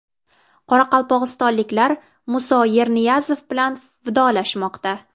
Qoraqalpog‘istonliklar Musa Yerniyazov bilan vidolashmoqda.